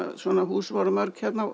svona hús voru mörg hérna